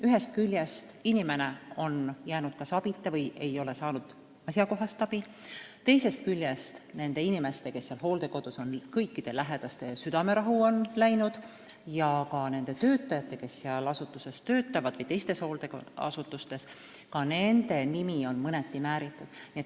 Ühest küljest on inimene jäänud abita või ei ole ta saanud asjakohast abi, teisest küljest on hooldekodus olevate inimeste lähedaste südamerahu läinud, samuti on hooldeasutuste töötajate nimi mõneti määritud.